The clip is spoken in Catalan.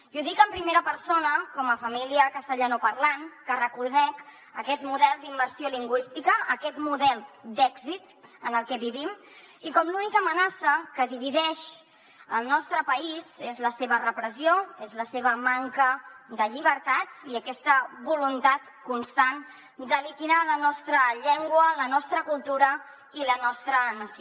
i ho dic en primera persona com a família castellanoparlant que reconec aquest model d’immersió lingüística aquest model d’èxit en el que vivim i com que l’única amenaça que divideix el nostre país és la seva repressió és la seva manca de llibertats i aquesta voluntat constant de liquidar la nostra llengua la nostra cultura i la nostra nació